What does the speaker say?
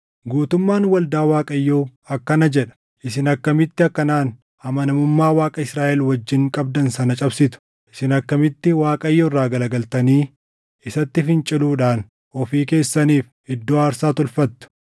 “Guutummaan waldaa Waaqayyoo akkana jedha: ‘Isin akkamitti akkanaan amanamummaa Waaqa Israaʼel wajjin qabdan sana cabsitu? Isin akkamitti Waaqayyo irraa garagaltanii isatti finciluudhaan ofii keessaniif iddoo aarsaa tolfattu?